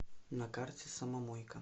на карте самомойка